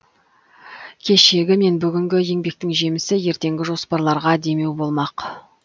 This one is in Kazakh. кешегі мен бүгінгі еңбектің жемісі ертеңгі жоспарларға демеу болмақ